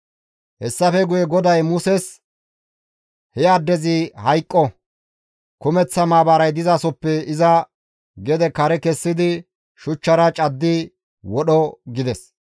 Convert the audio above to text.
Hessafe guye GODAY Muses, «He addezi hayqqo! Kumeththa maabaray dizasoppe iza kare kessidi shuchchara caddi wodho» gides.